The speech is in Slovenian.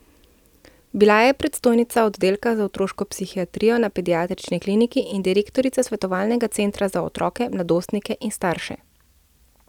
Bila je predstojnica oddelka za otroško psihiatrijo na Pediatrični kliniki in direktorica svetovalnega centra za otroke, mladostnike in starše.